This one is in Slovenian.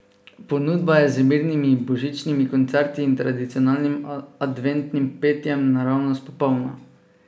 Ponudba je z mirnimi božičnimi koncerti in tradicionalnim adventnim petjem naravnost popolna.